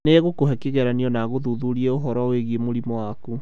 Nĩ egũkũhe kĩgeranio na agũthuthurie ũhoro wĩgiĩ mũrimũ waku.